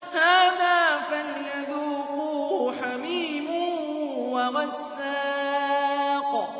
هَٰذَا فَلْيَذُوقُوهُ حَمِيمٌ وَغَسَّاقٌ